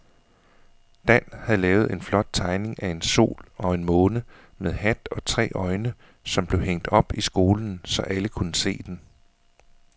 Dan havde lavet en flot tegning af en sol og en måne med hat og tre øjne, som blev hængt op i skolen, så alle kunne se den.